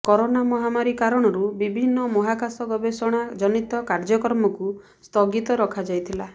corona ମହାମାରୀ କାରଣରୁ ବିଭିନ୍ନ ମହାକାଶ ଗବେଷଣା ଜନୀତ କାର୍ଯ୍ୟକ୍ରମକୁ ସ୍ଥଗିତ ରଖାଯାଇଥିଲା